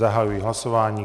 Zahajuji hlasování.